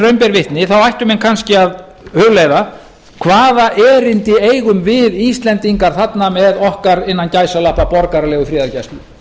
ber vitni ættu menn kannski að hugleiða hvaða erindi eigum við íslendingar þarna með okkar innan gæsalappa borgaralegu friðargæslu